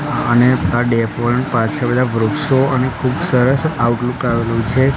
અને આ ડેપો ની પાછળ બધા વૃક્ષો અને ખુબ સરસ આઉટલુક આવેલું છે.